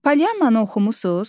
Polyananı oxumusuz?